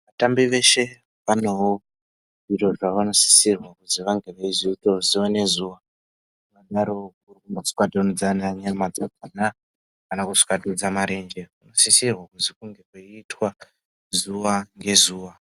Vatambi zveshe vanewo zviro zvavanosisirwa kuzi vange veizoitawo zuwa nezuwa, kunyariwo kuswatudza ana nyama dzakhona ,kana kuswatudza marenje, kunosisirwa kuzi kunge kweiitwa zuwa ngezuwa.